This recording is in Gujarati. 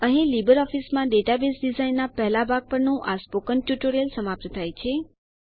અહીં લીબરઓફીસમાં ડેટાબેઝ ડીઝાઇનનાં પહેલા ભાગ પરનું આ સ્પોકન ટ્યુટોરીયલનો સમાપ્ત થાય છે